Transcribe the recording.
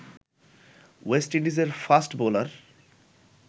West ইন্ডিজের fast bowler